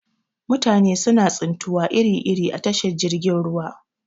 Mutane suna tsintuwa iri iri a tashar jirgin ruwa.